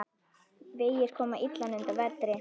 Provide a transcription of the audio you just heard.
Vegir koma illa undan vetri.